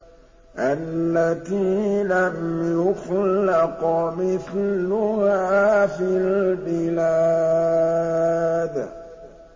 الَّتِي لَمْ يُخْلَقْ مِثْلُهَا فِي الْبِلَادِ